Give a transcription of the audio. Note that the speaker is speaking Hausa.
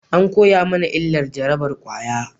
An koya mana illar jarabar kwaya